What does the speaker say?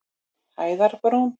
Hæðarbrún